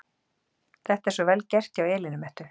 Þetta er svo VEL GERT hjá Elínu Mettu!